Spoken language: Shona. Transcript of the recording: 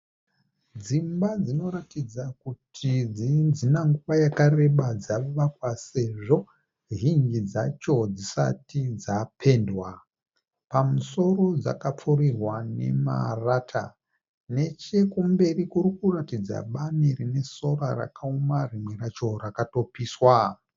Dzimba dzinoratidza kuti dzina nguva yakareba dzavakwa sezvo zhinji dzacho dzisati dzapendwa. Pamusoro dzakapfurirwa nemarata. Nechekumberi kurikuratidza bani rine sora rakaoma rimwe racho rakatopiswa.